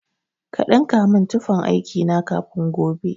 Ka ɗinka min tufan aiki na kafin gobe.